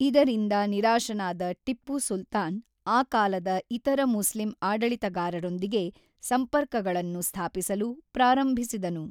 ಇದರಿಂದ ನಿರಾಶನಾದ ಟಿಪ್ಪು ಸುಲ್ತಾನ್ ಆ ಕಾಲದ ಇತರ ಮುಸ್ಲಿಂ ಆಡಳಿತಗಾರರೊಂದಿಗೆ ಸಂಪರ್ಕಗಳನ್ನು ಸ್ಥಾಪಿಸಲು ಪ್ರಾರಂಭಿಸಿದನು.